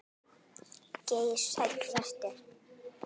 Geir Sæll vertu.